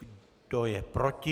Kdo je proti?